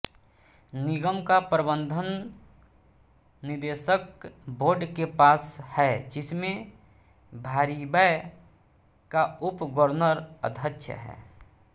निगम का प्रबंधन निदेशक बोर्ड के पास है जिसमें भारिबैं का उप गवर्नर अध्यक्ष है